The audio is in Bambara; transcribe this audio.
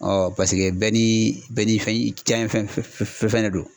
paseke bɛɛ ni bɛɛ ni fɛn diyanyɛ fɛn fɛn de don.